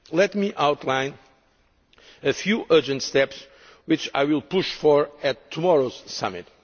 Let me outline a few urgent steps which I will push for at tomorrow's summit.